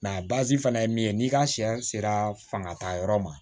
fana ye min ye n'i ka sɛ sera fangatayɔrɔ ma